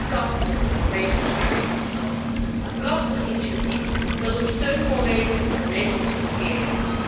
Dat kan met het Europees beschermingsbevel, een prachtig initiatief dat op steun kon rekenen van de Nederlandse regering.